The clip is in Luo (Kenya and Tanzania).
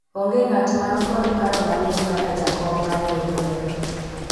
onge ng'at man kod paro maliwu kaka jakom mar riwruogno